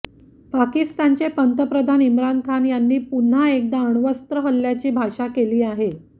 पाकिस्तानचे पंतप्रधान इम्रान खान यांनी पुन्हा एकदा अणवस्र हल्ल्याची भाषा केली आहे